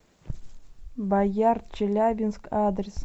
боярд челябинск адрес